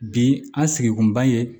Bi an sigikun b'an ye